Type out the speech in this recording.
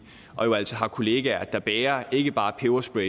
og jo altså har kollegaer der bærer ikke bare peberspray